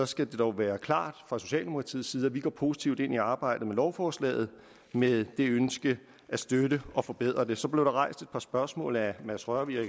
skal det dog være klart fra socialdemokratiets side at vi går positivt ind i arbejdet med lovforslaget med det ønske at støtte og forbedre det så blev der rejst et par spørgsmål af herre mads rørvig og